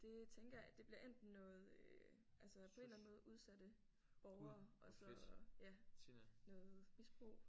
Det tænker jeg det bliver enten noget altså på en eller anden måde udsatte borgere og så ja noget misbrug